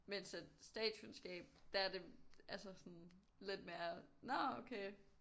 Mens at statskundskab der er det altså sådan lidt mere nå okay